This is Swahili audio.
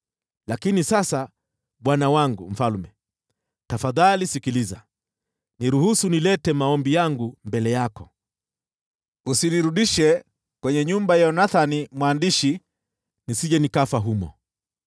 Lakini sasa, bwana wangu mfalme, tafadhali sikiliza. Niruhusu nilete maombi yangu mbele yako, usinirudishe kwenye nyumba ya Yonathani mwandishi, nisije nikafia humo.”